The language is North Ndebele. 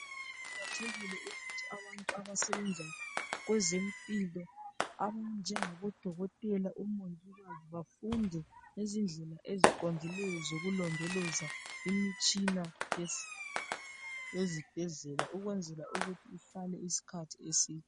Kuqakathekile ukuthi abantu abasebenza kwezempilo aba njengabo dokotela ,omongikazi bafunde ngezindlela eziqondileyo zokulondoloza imitshina yezibhedlela ukwenzela ukuthi ihlale isikhathi eside .